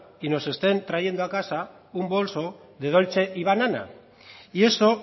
y nos estén trayendo a casa un bolso de dolcebanana y eso